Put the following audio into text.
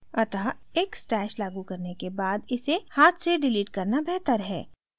अतः एक stash लागू करने के बाद इसे हाथ से डिलीट करना बेहतर है